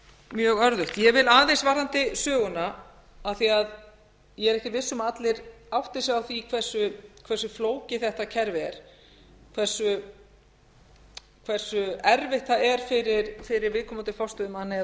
mjög örðugt ég vil aðeins varðandi söguna af því að ég er ekkert viss um að allir átti sig á því hversu flókið þetta kerfi er hversu erfitt það er fyrir viðkomandi